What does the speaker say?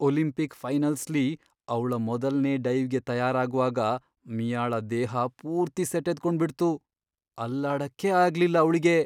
Olympic ಫೈನಲ್ಸ್ಲಿ ಅವ್ಳ ಮೊದಲ್ನೇ ಡೈವ್ಗೆ ತಯಾರಾಗ್ವಾಗ ಮಿಯಾಳ ದೇಹ ಪೂರ್ತಿ ಸೆಟೆದ್ಕೊಂಡ್ಬಿಡ್ತು, ಅಲ್ಲಾಡಕ್ಕೇ ಆಗ್ಲಿಲ್ಲ ಅವ್ಳಿಗೆ!